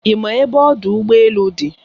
Ị ma ebe ọdụ ụgbọ elu dị?